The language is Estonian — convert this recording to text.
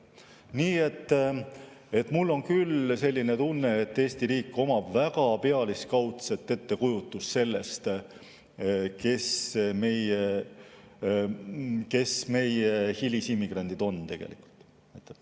Nii et mul on küll tunne, et Eesti riigil on väga pealiskaudne ettekujutus sellest, kes meie hilisimmigrandid tegelikult on.